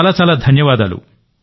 చాలా చాలా ధన్యవాదాలు